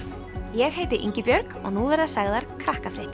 ég heiti Ingibjörg og nú verða sagðar